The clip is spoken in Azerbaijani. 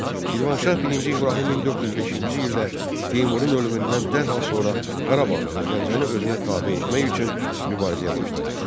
Şirvanşah birinci İbrahim 1405-ci ildə Teymurun ölümündən dərhal sonra Qarabağı və Gəncəni özünə tabe etmək üçün mübarizəyə başladı.